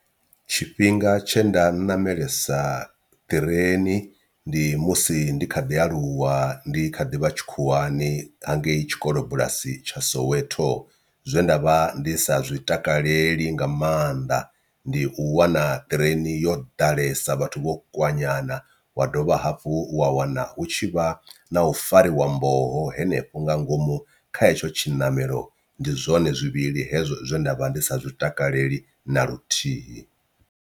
Tshifhinga tshe nda namelisa ṱireni ndi musi ndi kha ḓi aluwa ndi kha ḓi vha tshikhuwani hangei tshikolobulasi tsha soweto, zwe nda vha ndi sa zwi takaleli nga maanḓa ndi u wana ṱireini yo ḓalesa vhathu vho kwanyana wa dovha hafhu wa wana u tshi vha na u fariwa mboho hanefho nga ngomu kha hetsho tshiṋamelo ndi zwone zwivhili hezwo zwe nda vha ndi sa zwi takaleli na luthihi.